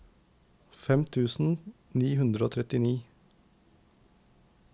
femten tusen ni hundre og trettini